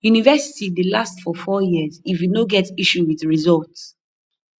university dey last for four years if you no get issue with resullt